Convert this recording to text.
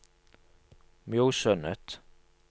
Mjosundet